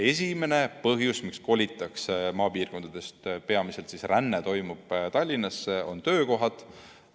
Esimene põhjus, miks kolitakse maapiirkondadest ära – peamiselt toimub ränne Tallinnasse – on töökohad.